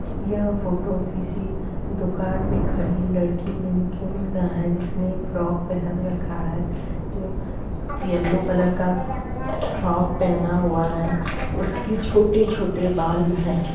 यह फोटो किसी दुकान में खड़ी लड़की मेनीक्वीन का है जिसने फ्रॉक पहन रखा है जो येलो कलर का फ्रॉक पहना हुआ है उसके छोटे-छोटे बाल हैं।